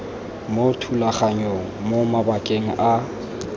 mo thulaganyong mo mabakeng a